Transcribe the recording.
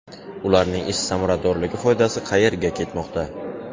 Ularning ish samaradorligi, foydasi qayerga ketmoqda?